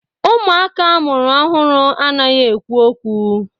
Ụmụaka amụrụ ọhụrụ anaghị ekwu okwu.